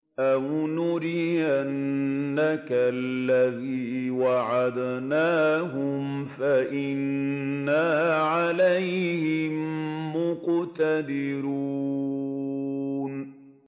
أَوْ نُرِيَنَّكَ الَّذِي وَعَدْنَاهُمْ فَإِنَّا عَلَيْهِم مُّقْتَدِرُونَ